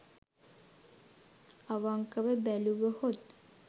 අවංකව බැලුවහොත්